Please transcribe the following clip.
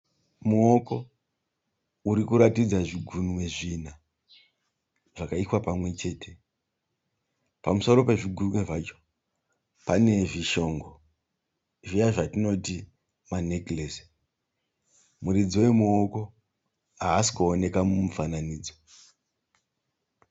Muoko uri kuratidza zvigunwe zvina zvakaiswa pamwe chete. Pamusoro pezvigunwe zvacho pane zvishongo zviya zvatinoti manekiresi. Muridzi wemuoko haasi kuoneka mumufananidzo.